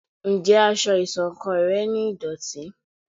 Njé aṣọ iṣọ̀kan rẹ ní ìdòtí?